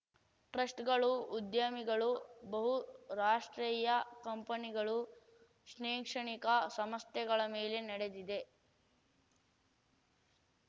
ಟ್ರಸ್ಟ್‌ಗಳು ಉದ್ಯಮಿಗಳು ಬಹುರಾಷ್ಟ್ರೀಯ ಕಂಪನಿಗಳು ಶ್ನೆಕ್ಷಣಿಕ ಸಂಸ್ಥೆಗಳ ಮೇಲೆ ನಡೆದಿದೆ